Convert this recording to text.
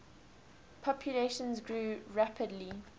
population grew rapidly